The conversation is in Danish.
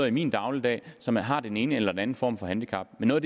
i min dagligdag som har den ene eller den anden form for handicap og noget